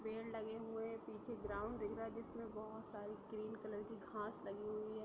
पेड़ लगे हुए है| पीछे ग्राउन्ड दिख रहा है जिसमे बहुत सारी ग्रीन कलर की घास लगी हुई है।